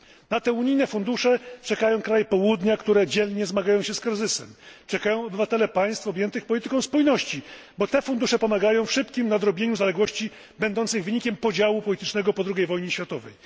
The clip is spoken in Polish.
Na te unijne fundusze czekają kraje Południa, które dzielnie zmagają się z kryzysem, czekają obywatele państw objętych polityką spójności, bo te fundusze pomagają w szybkim nadrobieniu zaległości będących wynikiem podziału politycznego po II wojnie światowej.